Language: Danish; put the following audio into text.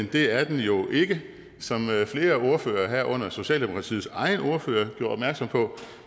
det er den jo ikke som flere ordførere herunder socialdemokratiets egen ordfører gjorde opmærksom på